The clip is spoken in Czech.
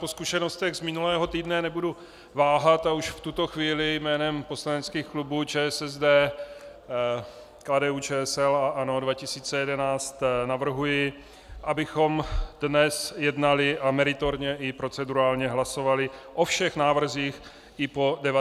Po zkušenostech z minulého týdne nebudu váhat a už v tuto chvíli jménem poslaneckých klubů ČSSD, KDU-ČSL a ANO 2011 navrhuji, abychom dnes jednali a meritorně i procedurálně hlasovali o všech návrzích i po 19. i po 21. hodině.